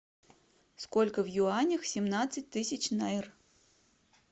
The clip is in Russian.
сколько в юанях семнадцать тысяч найр